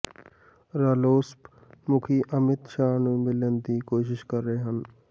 ਰਾਲੋਸਪ ਮੁਖੀ ਅਮਿਤ ਸ਼ਾਹ ਨੂੰ ਮਿਲਣ ਦੀ ਕੋਸ਼ਿਸ਼ ਕਰ ਰਹੇ ਹਨ